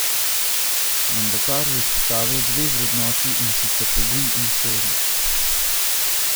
Mandatar je izpostavil dve vrednoti, in sicer pogum in složnost.